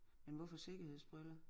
Men hvorfor sikkerhedsbriller?